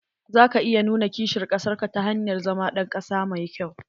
Za ka iya nuna kishin kasar ka ta hanyar zama ɗan ƙasa mai kyau.